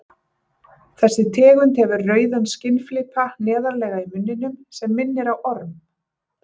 Þessi tegund hefur rauðan skinnflipa neðarlega í munninum sem minnir á orm.